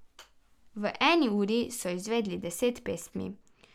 V eni uri so izvedli deset pesmi.